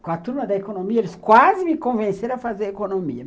Com a turma da economia, eles quase me convenceram a fazer economia.